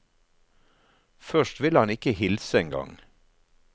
Først vil han ikke hilse en gang.